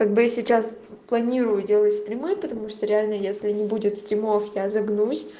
как бы я сейчас планирую делать стримы потому что реально если не будет стримов я загнусь